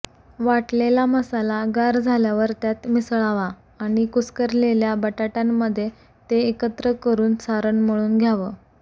वाटलेला मसाला गार झाल्यावर त्यात मिसळावा आणि कुस्करलेल्या बटाट्यांमध्ये ते एकत्र करून सारण मळून घ्यावं